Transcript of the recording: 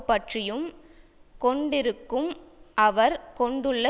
பற்றியும் கொண்டிருக்கும் அவர் கொண்டுள்ள